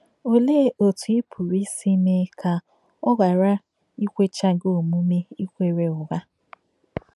Òlēē òtù ị pùrū ìsì mēē kà ọ̀ ghàrà ìkwèchà gí òmùme ìkwérē ụ́ghà?